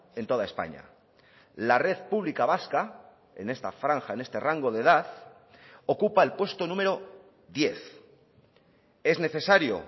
en toda españa la red pública vasca en esta franja en este rango de edad ocupa el puesto número diez es necesario